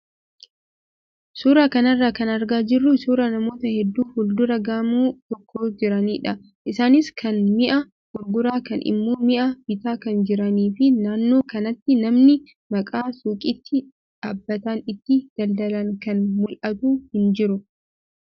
Suuraa kanarraa kan argaa jirru suuraa namoota hedduu fuuldura gamoo tokkoo jiranidha. Isaanis kaan mi'a gurguraa kaan immoo mi'aa bitaa kan jiranii fi naannoo kanatti manni akka suuqiitti dhaabbataan itti daldalan kan mul'atu hin jiru.